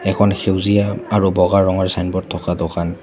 এখন সেউজীয়া আৰু বগা ৰঙৰ ছাইনবোৰ্ড থকা দোকান--